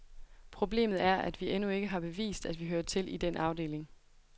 Problemet er, at vi endnu ikke har bevist, at vi hører til i den afdeling.